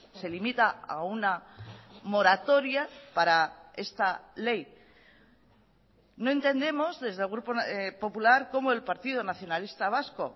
se limita a una moratoria para esta ley no entendemos desde el grupo popular como el partido nacionalista vasco